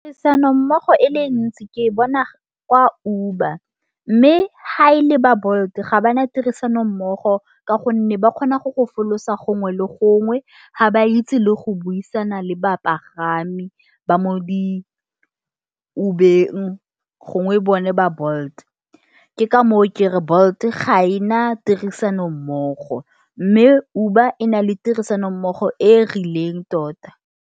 Tirisano mmogo e le e ntsi, ke bona kwa Uber. Mme ha e le ba Bolt ga bana tirisano mmogo. Ka gonne ba kgona go go fologa gongwe le gongwe. Ha ba itse le go buisana le bapagami, ba mo di Uber- eng gongwe bone ba Bolt. Ke ka moo kereng Bolt ga e na tirisano mmogo. Mme Uber e na le tirisano mmogo e e rileng tota.